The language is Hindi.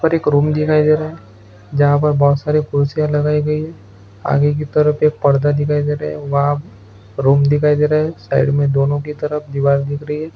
यहाँ पर एक रूम दिखाई दे रहा है जहां पर बहुत सारे कुर्सियाँ लगाई गई है आगे की तरफ एक पर्दा दिखाई दे रहे है वहाँ एक रूम दिखाई दे रहा है साइड मे दोनों की तरफ दीवार दिख रही है।